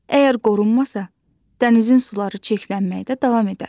Əgər qorunmasa, dənizin suları çirklənməkdə davam edər.